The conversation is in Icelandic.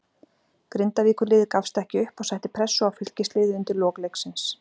Grindavíkurliðið gafst ekki upp og setti pressu á Fylkisliðið undir lok leiksins.